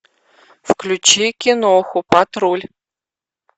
включи киноху патруль